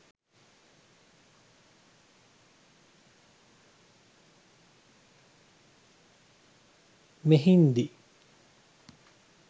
mehindi